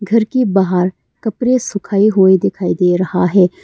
घर की बाहर कपड़े सुखाए हुए दिखाई दे रहा है।